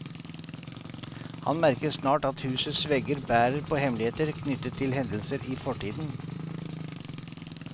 Han merker snart at husets vegger bærer på hemmeligheter knyttet til hendelser i fortiden.